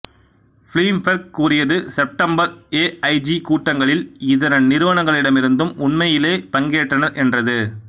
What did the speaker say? Bloomberg கூறியது September AIG கூட்டங்களில் இதர நிறுவனங்களிலிருந்தும் உண்மையிலேயே பங்கேற்றனர் என்றது